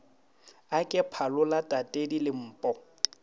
a ke phalola tatedi lempo